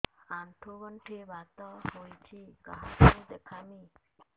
ଆଣ୍ଠୁ ଗଣ୍ଠି ବାତ ହେଇଚି କାହାକୁ ଦେଖାମି